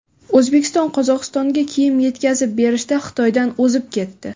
O‘zbekiston Qozog‘istonga kiyim yetkazib berishda Xitoydan o‘zib ketdi.